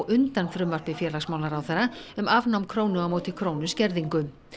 undan frumvarpi félagsmálaráðherra um afnám krónu á móti krónu skerðingu